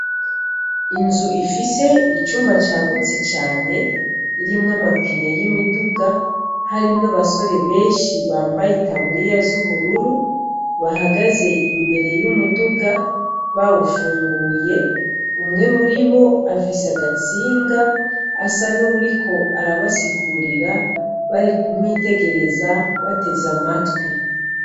Inzu ifise icumba cagutse cane ,irimwo amapine y' imiduga , harimwo abasore benshi bambaye itaburiya z' ubururu, bahagaze imbere y' umuduga bawufunguye , umwe muribo afise agatsinga asa n' uwuriko arabasirira, barikumwitegereza bateze amatwi .